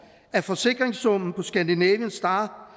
at forsikringssummen på scandinavian star